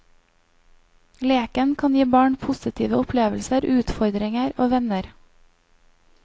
Leken kan gi barn positive opplevelser, utfordringer og venner.